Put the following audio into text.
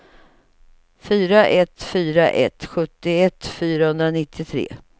fyra ett fyra tre sjuttioett fyrahundranittiotre